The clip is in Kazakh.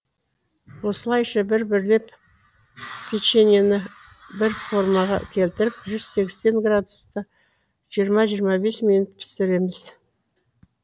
осылайша бір бірлеп печеньені бір формаға келтіріп жүз сексен градуста жиырма жиырма бес минут пісіреміз